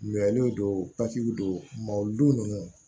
Mɛnliw don don mɔwdon ninnu